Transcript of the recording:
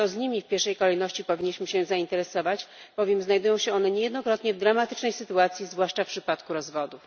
To nimi w pierwszej kolejności powinniśmy się zainteresować, bowiem znajdują się one niejednokrotnie w dramatycznej sytuacji, zwłaszcza w przypadku rozwodu.